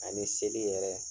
Ani seli yɛrɛ